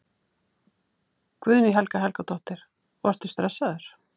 Guðný Helga Helgadóttir: Varstu stressaður?